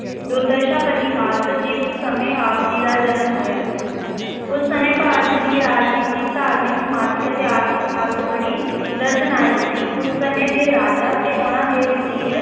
ਦੁਰਦਸ਼ਾ ਭਰੀ ਹਾਲਤ, ਜਿਸ ਸਮੇਂ ਆਪ ਜੀ ਦਾ ਜਨਮ ਹੋਇਆ ਉਸ ਸਮੇਂ ਭਾਰਤ ਦੀ ਰਾਜਨੀਤਿਕ, ਧਾਰਮਿਕ, ਸਮਾਜਿਕ ਅਤੇ ਆਰਥਿਕ ਹਾਲਤ ਬੜੀ ਦਰਦਨਾਕ ਸੀ, ਉਸ ਸਮੇਂ ਦੇ ਰਾਜਾ ਤੇ ਉਹਨਾਂ ਦੇ ਵਜੀਰ